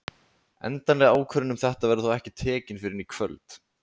Endanleg ákvörðun um þetta verður þó ekki tekin fyrr en í kvöld.